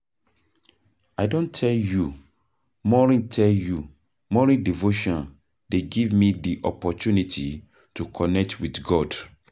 I don tell you, morning devotion dey give me di opportunity to connect wit God.